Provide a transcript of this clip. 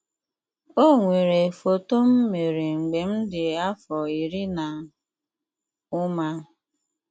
O nwere foto m mere mgbe m dị afọ iri na ụma.